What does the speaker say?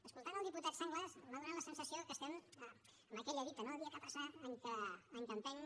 escoltant el diputat sanglas m’ha donat la sensació que estem en aquella dita dia que passa any que empeny